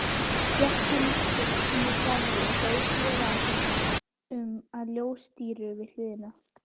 Gekk hann því úr garðinum og beið félaga sinna undir ljóstíru við hliðið.